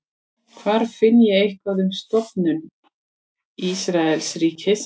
hvar finn ég eitthvað um stofnun ísraelsríkis